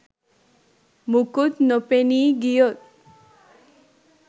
මොකුත් නොපෙනී ගියොත්